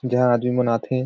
जेहा आदमीमन आथे।